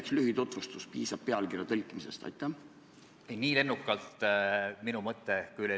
Kuna neid nõudeid on viie aasta võrra edasi lükatud, siis jaamas abistamise teenust meil jaamades ei ole.